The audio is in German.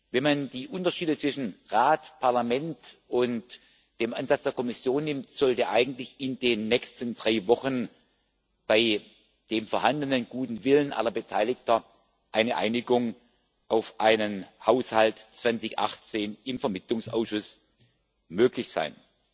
Wenn man die Unterschiede zwischen Rat, Parlament und dem Ansatz der Kommission nimmt, sollte eigentlich in den nächsten drei Wochen bei dem vorhandenen guten Willen aller Beteiligten eine Einigung auf einen Haushalt 2018 im Vermittlungsausschuss möglich sein.